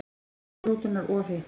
Bremsur rútunnar ofhitnuðu